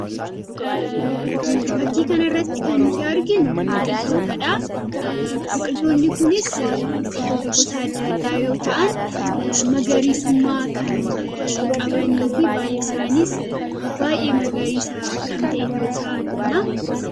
Fakkii kanarratti kan nuti arginu biqiltootadha. biqiltoonni kunis, biqiltoota gosa addaa addaa yoo ta'an magariisumma kan qabanii fi baalli isaaniis baay'ee magariisa ta'uu isaa argina.